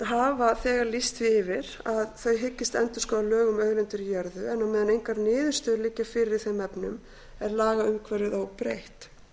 hafa þegar lýst því yfir að þau hyggist endurskoða lög um auðlindir í jörðu en á meðan engar niðurstöður liggja fyrir í þeim efnum er lagaumhverfið óbreytt